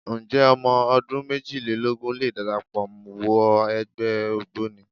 Ǹjẹ́ ọmọ ọdún méjìlélógún lè darapọ̀ wọ ẹgbẹ́ Ògboni?